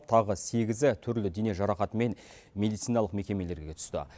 тағы сегізі түрлі дене жарақатымен медициналық мекемелерге түсті